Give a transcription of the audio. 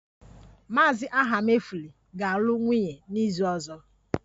Mr. Ahamefula ga-alụ nwunye n'izu ọzọ